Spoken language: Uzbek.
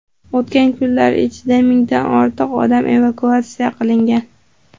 O‘tgan kunlar ichida mingdan ortiq odam evakuatsiya qilingan.